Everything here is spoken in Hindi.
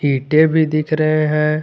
ईंटें भी दिख रहे हैं।